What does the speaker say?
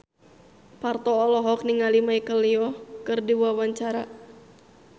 Parto olohok ningali Michelle Yeoh keur diwawancara